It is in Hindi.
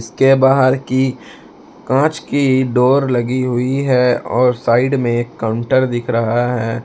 इसके बाहर की कांच की डोर लगी हुई है और साइड में काउंटर दिख रहा है।